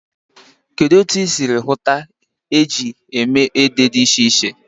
Kedu otu ị siri hụta ihe eji eme ede dị iche iche?